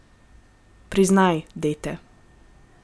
Priznaj, dete.